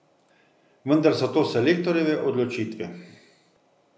Vendar so to selektorjeve odločitve.